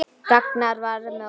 Ragnar var með okkur.